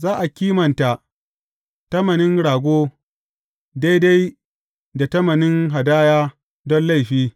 Za a kimanta tamanin rago daidai da tamanin hadaya don laifi.